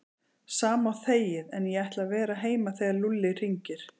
Sama og þegið en ég ætla að vera heima þegar Lúlli hringir